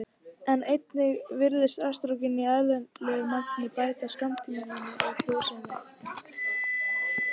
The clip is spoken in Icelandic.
Einnig virðist estrógen í eðlilegu magni bæta skammtímaminni og frjósemi.